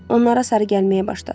Onlara sarı gəlməyə başladı.